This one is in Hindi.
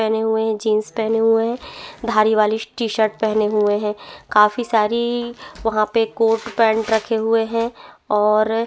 पहने हुए है जीन्स पहने हुए है धारीवाली टीशर्ट पहनी हुए है काफी सारी वहाँ पे कोट पैंट रखे हुए है और --